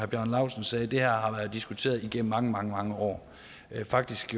bjarne laustsen sagde at det her har været diskuteret igennem mange mange år faktisk